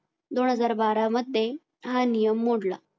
दोन हजार बारा मध्ये हा नियम मोडला